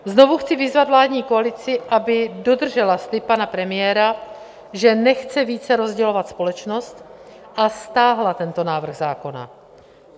Znovu chci vyzvat vládní koalici, aby dodržela slib pana premiéra, že nechce více rozdělovat společnost, a stáhla tento návrh zákona.